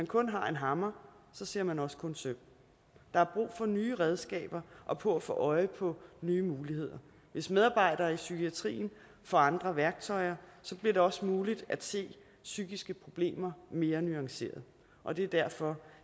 kun har en hammer ser man også kun søm der er brug for nye redskaber og for at få øje på nye muligheder hvis medarbejderne i psykiatrien får andre værktøjer bliver det også muligt at se psykiske problemer mere nuanceret og det er derfor